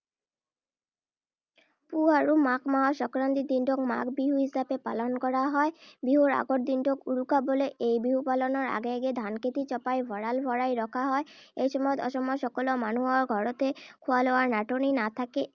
পুহ আৰু মাঘ মাহৰ সংক্ৰান্তিৰ দিনটোক মাঘ বিহু হিচাপে পালন কৰা হয়। বিহুৰ আগৰ দিনটোক উৰুকা বোলে। এই বিহু পালনৰ আগে আগে ধানখেতি চপাই ভঁৰাল ভৰাই ৰখা হয়। এই সময়ত অসমৰ সকলো মানুহৰ ঘৰতে খোৱা-লোৱাৰ নাটনি নাথাকে।